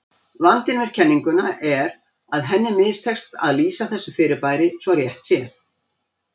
Vandinn við kenninguna er að henni mistekst að lýsa þessu fyrirbæri svo rétt sé.